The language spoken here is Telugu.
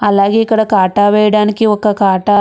అలాగే ఇక్కడ కాటా వేయడానికి ఒక కాటా --